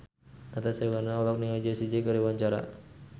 Natasha Wilona olohok ningali Jessie J keur diwawancara